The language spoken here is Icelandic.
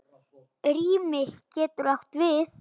Rými getur átt við